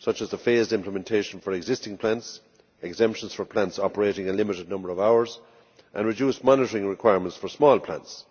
such as the phased implementation for existing plants, exemptions for plants operating a limited number of hours, and reduced monitoring requirements for small plants.